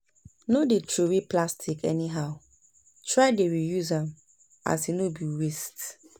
no dey throway plastic anyhow, try dey re-use am as e no bi waste